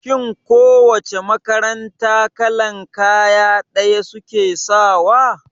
Shin ko wace makaranta kalan kaya ɗaya suke sawa?